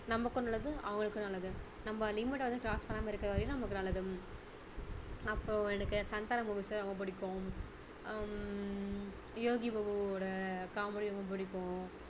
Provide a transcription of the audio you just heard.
நமக்கும் நல்லது அவங்களுக்கும் நல்லது நம்ம limit ட வந்து cross பண்ணாம இருக்கிற வரைக்கும் நமக்கு நல்லது அப்பறம் எனக்கு சந்தானம் movies லாம் ரொம்ப பிடிக்கும் ஆஹ் ஹம் யோகிபாபு யோட comedy ரொம்ப பிடிக்கும்